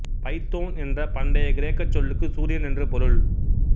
Python என்ற பண்டைய கிரேக்கச் சொல்லுக்கு சூரியன் என்று பொருள்